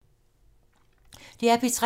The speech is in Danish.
DR P3